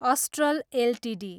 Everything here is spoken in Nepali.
astral Ltd